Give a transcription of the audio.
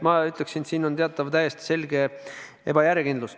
Ma ütleksin, et siin on teatav täiesti selge ebajärjekindlus.